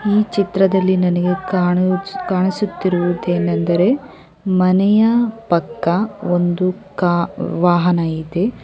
ಈ ಚಿತ್ರದಲ್ಲಿ ನನಗೆ ಕಾಣಿಸುತ್ತಿರುವುದೇನೆಂದರೆ ಮನೆಯ ಪಕ್ಕ ಒಂದು ಕ ವಾಹನ ಇದೆ.